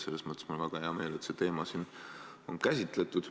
Selles mõttes on mul väga hea meel, et seda teemat on siin käsitletud.